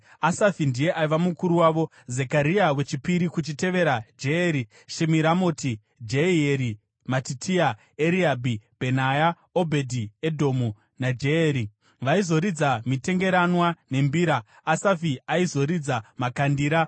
Asafi ndiye aiva mukuru wavo, Zekaria wechipiri, kuchitevera Jeyeri Shemiramoti, Jehieri, Matitia, Eriabhi, Bhenaya, Obhedhi-Edhomu naJeyeri. Vaizoridza mitengeranwa nembira; Asafi aizoridza makandira